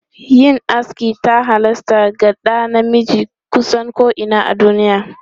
Yin aski ta halasta ga ɗa namiji kusan ko'ina a duniya.